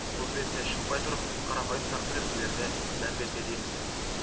мұз бетіне шықпай тұрып қарапайым сақтық ережелеріне мән берсе дейміз